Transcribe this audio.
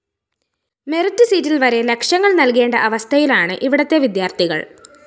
merit സീറ്റില്‍വരെ ലക്ഷങ്ങള്‍ നല്‍കേണ്ട അവസ്ഥയിലാണ് ഇവിടത്തെ വിദ്യാര്‍ത്ഥികള്‍